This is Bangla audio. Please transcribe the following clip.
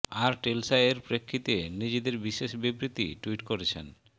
আর টেসলা এর প্রেক্ষিতে নিজেদের বিশেষ বিবৃতি ট্যুইট করেছেন